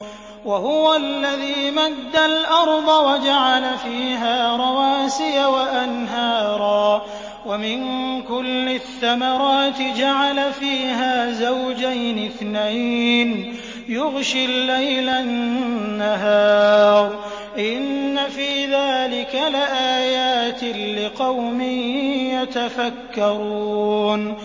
وَهُوَ الَّذِي مَدَّ الْأَرْضَ وَجَعَلَ فِيهَا رَوَاسِيَ وَأَنْهَارًا ۖ وَمِن كُلِّ الثَّمَرَاتِ جَعَلَ فِيهَا زَوْجَيْنِ اثْنَيْنِ ۖ يُغْشِي اللَّيْلَ النَّهَارَ ۚ إِنَّ فِي ذَٰلِكَ لَآيَاتٍ لِّقَوْمٍ يَتَفَكَّرُونَ